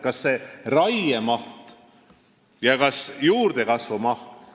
Ma pean silmas raie ja juurdekasvu mahtu.